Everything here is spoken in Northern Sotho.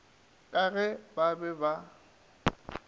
ka ge ba be ba